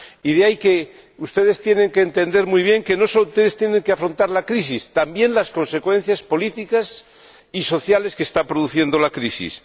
De ahí que ustedes tengan que entender muy bien que no sólo han de afrontar la crisis, sino también las consecuencias políticas y sociales que está produciendo la crisis.